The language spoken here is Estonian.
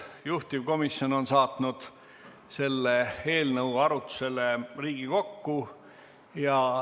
Juhtivkomisjon on saatnud selle eelnõu arutlusele Riigikokku.